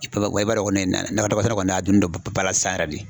i b'a dɔn kɔni nakɔ sɛnɛ kɔni a doni no bala sisan